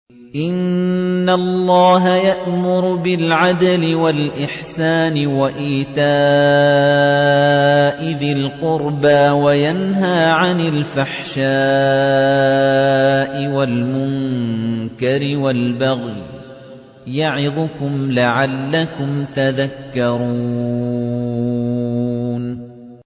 ۞ إِنَّ اللَّهَ يَأْمُرُ بِالْعَدْلِ وَالْإِحْسَانِ وَإِيتَاءِ ذِي الْقُرْبَىٰ وَيَنْهَىٰ عَنِ الْفَحْشَاءِ وَالْمُنكَرِ وَالْبَغْيِ ۚ يَعِظُكُمْ لَعَلَّكُمْ تَذَكَّرُونَ